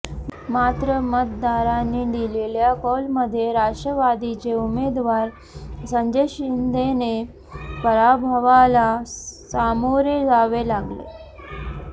मात्र मतदारांनी दिलेल्या कौलमध्ये राष्ट्रवादीचे उमेदवार संजय शिंदेना पराभवाला सामोरे जावे लागले